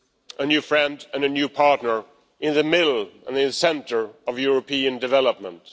a new friend and a new partner in the middle and the centre of European development.